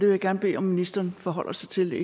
vil gerne bede ministeren forholde sig til